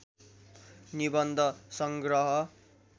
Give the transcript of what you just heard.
निबन्ध संग्रह